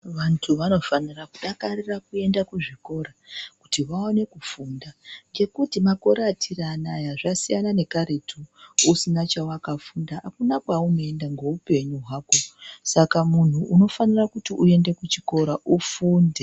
Vantu vanofanira kudakarira kuenda kuzvikora kuti vaone kufunda ngekuti makore atiri anaya zvasiyana nekaretu usina chawakafunda hakuna kwaunoenda neupenyu hwako saka munhu unofanira kuti uende kuchikora ufunde .